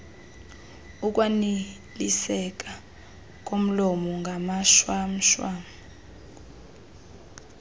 ukwaniliseka komlomo ngamashwamshwam